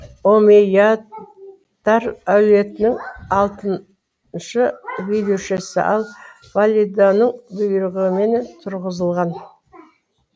ол омейядтар әулетінің алтыншы билеушісі ал валиданың бұйрығымен түрғызылған